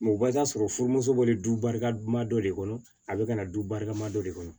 o bɛ taa sɔrɔ furumuso bɔlen duba dɔ de kɔnɔ a bɛ ka na du barika ma dɔ de kɔnɔ